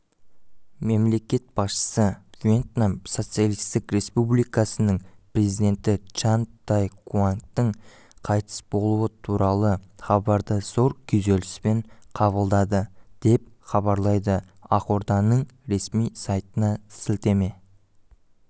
мемлекет басшысы вьетнам социалистік республикасының президенті чан дай куангтің қайтыс болуы туралы хабарды зор күйзеліспен қабылдады деп хабарлайды ақорданыңресми сайтына сілтеме